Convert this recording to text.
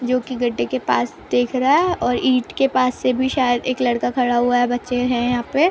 जो की गड्ढे के पास देख रहा है और ईट के पास से भी शायद एक लड़का खड़ा हुआ है बच्चे है यहाँ पे ।